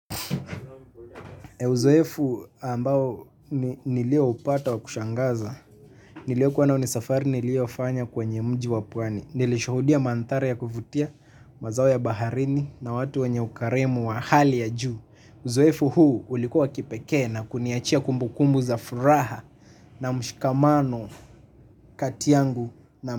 Kwa uzoefu ambao ni nilioupata wa kushangaza niliyo kuwa nayo ni safari nilio fanya kwenye mji wa pwani. Nilishuhudia mandhari ya kuvutia. Mazao ya baharini na watu wanye ukarimu wa hali ya juu uzoefu huu ulikuwa kipekee na kuniachia kumbukumbu za furaha. Na mshikamano kati yangu na mshikamano.